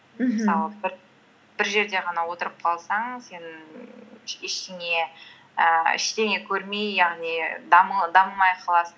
бір жерде ғана отырып қалсаң сен ііі ештеңе көрмей яғни дамымай қаласың